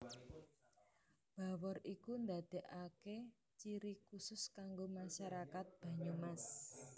Bawor iku ndadekaki ciri kusus kanggo masyarakat Banyumas